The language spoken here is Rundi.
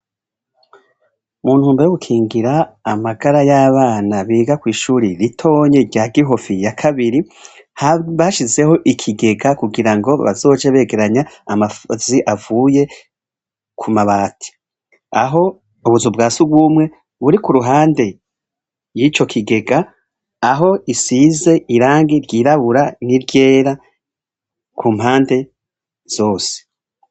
Mu ntumbero yo gukingira amagara y'abana biga kw'ishure ritonya rya Gihofi ya kabiri, bashizeho ikigega kugira ngo bazoje begeranya amazi avuye ku mabati. Aho ubuzu bwa surwumwe buri kuruhande y'ico kigega, aho isize irangi ryirabura n'iryera ku mpande zose.